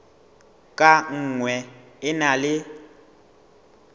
ka nngwe e na le